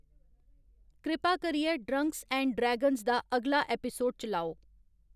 कृपा करियै Drunks and Dragons दा अगला ऐपिसोड चलाओ